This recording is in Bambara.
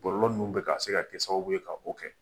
Bɔlɔlɔ ninnu bɛ ka se ka kɛ sababuw ye k'o kɛ